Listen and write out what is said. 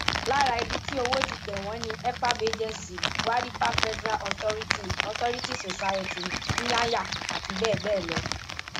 lára ibi tí owó ti tẹ wọn ni efab agency gwaripa federal authority authority society nyanya àti bẹẹ bẹẹ lọ